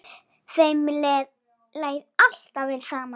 Þeim leið alltaf vel saman.